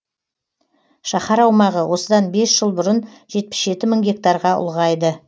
шаһар аумағы осыдан бес жыл бұрын жетпіс жеті мың гектарға ұлғайды